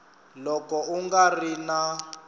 loko u nga ri na